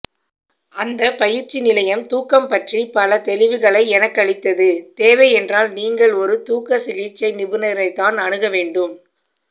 அந்தப் பயிற்சி நிலையம் தூக்கம் பற்றி பல தெளிவுகளை எனக்களித்ததுதேவை என்றால் நீங்கள் ஒரு தூக்கசிகிழ்ச்சை நிபுணரைத்தான் அணுகவேண்டும்